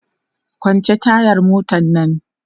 kwance tayar motan Nan!